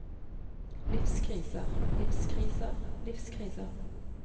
livskriser livskriser livskriser